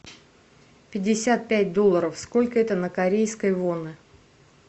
пятьдесят пять долларов сколько это на корейские воны